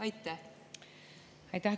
Aitäh!